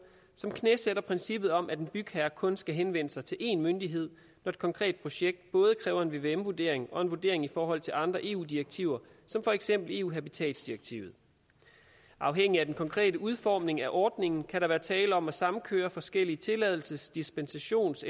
som knæsætter princippet om at en bygherre kun skal henvende sig til én myndighed når et konkret projekt både kræver en vvm vurdering og en vurdering i forhold til andre eu direktiver som for eksempel eus habitatsdirektiv afhængigt af den konkrete udformning af ordningen kan der være tale om at samkøre forskellige tilladelses dispensations